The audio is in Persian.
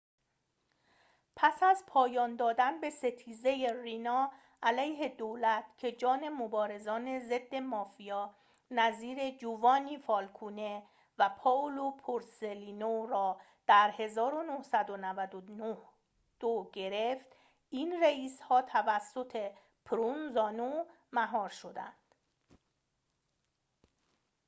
پس از پایان دادن به ستیزه رینا علیه دولت که جان مبارزان ضد مافیا نظیر جووانی فالکونه و پائولو بورسلینو را در ۱۹۹۲ گرفت این رئیس‌ها توسط پروونزانو مهار شدند